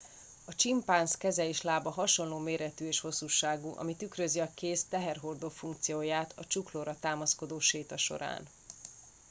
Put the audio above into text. a csimpánz keze és lába hasonló méretű és hosszúságú ami tükrözi a kéz teherhordó funkcióját a csuklóra támaszkodó séta során